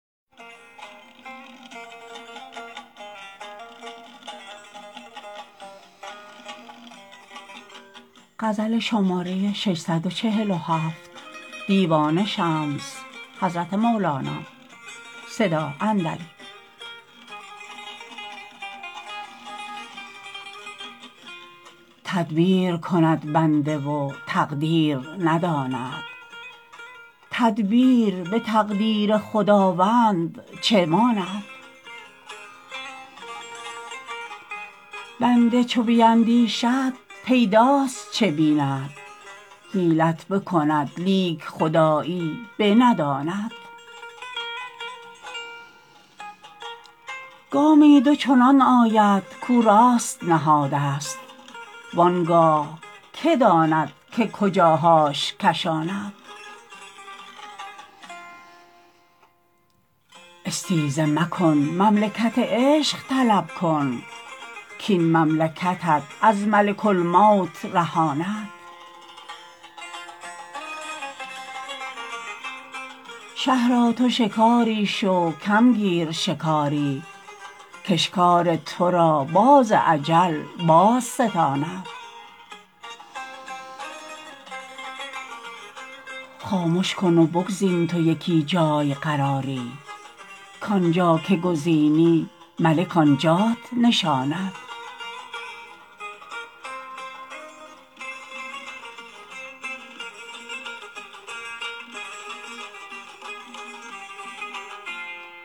تدبیر کند بنده و تقدیر نداند تدبیر به تقدیر خداوند چه ماند بنده چو بیندیشد پیداست چه بیند حیلت بکند لیک خدایی بنداند گامی دو چنان آید کو راست نهادست وان گاه که داند که کجاهاش کشاند استیزه مکن مملکت عشق طلب کن کاین مملکتت از ملک الموت رهاند شه را تو شکاری شو کم گیر شکاری کاشکار تو را باز اجل بازستاند خامش کن و بگزین تو یکی جای قراری کان جا که گزینی ملک آن جات نشاند